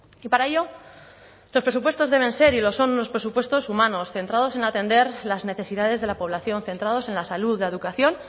y para ello estos presupuestos deben ser y lo son unos presupuestos humanos centrados en atender las necesidades de la población centrados en la salud la educación